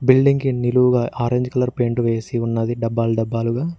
Building కి నిలువుగా orange colour paint వేసి ఉన్నది డబ్బాలు డబ్బాలుగా.